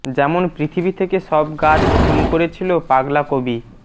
যেমন পৃথিবী থেকে সব গাছ খুন করেছিল পাগলা কবি